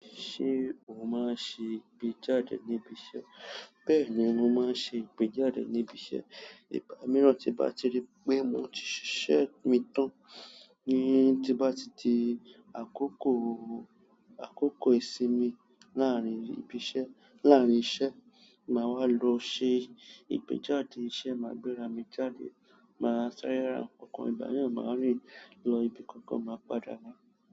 Ṣé o máa ń ṣe ìgbéjáde níbi iṣẹ́? Bẹ́ẹ̀ ni mo máa ń ṣe ìgbéjáde níbi iṣẹ́. Ìgbà mìíràn tí bá ti rí pé mo ti ṣiṣẹ́ mi tán, ní tí bá ti di àkókò, àkókò ìsinmi láàárín ìbi iṣẹ́, láàárín iṣẹ́, màá wá lọ ṣe ìgbéjáde iṣẹ́, màá gbéra mi jáde, màá sáré ra nǹkan. Ìgbà mìíràn màá rìn lọ ibi kankan, màá padà wa.